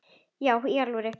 Já í alvöru, sagði hún.